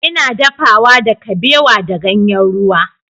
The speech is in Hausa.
Ina dafawa da kabewa da ganyen ruwa.